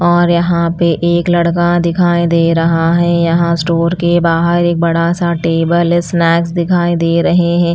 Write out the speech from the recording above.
और यहाँ पे एक लड़का दिखाई दे रहा है यहाँ स्टोर के बाहर एक बड़ा सा टेबल है स्नैक्स दिखाई दे रहे हैं।